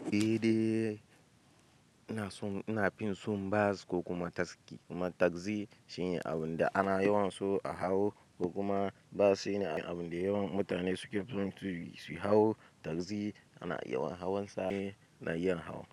Eh, ni dai inason, ina fin son bas ko kuma taski. Kuma tagzi shine abinda ana yawan so a hau ko kuma bus shine abinda yawan mutane suke so su hau. Tagzi ana yawan hauwan sa ne na yin hawa.